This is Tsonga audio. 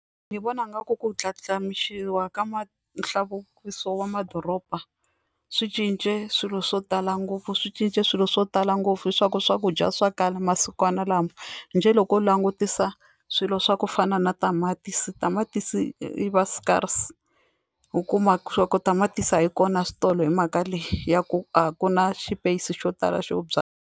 Ni vona nga ku ku ndlandlamuxiwa ka ma nhluvukiso wa madoroba swi cince swilo swo tala ngopfu swi cince swilo swo tala ngopfu swa ku swakudya swa kala masikwana lama njhe loko u langutisa swilo swa ku fana na tamatisi tamatisi ri va scarce u kuma swa ku tamatisi a yi kona switolo hi mhaka leyi ya ku a ku na xipeyisi xo tala xo .